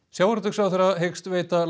sjávarútvegsráðherra hyggst veita